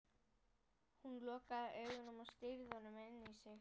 Hún lokaði augunum og stýrði honum inn í sig.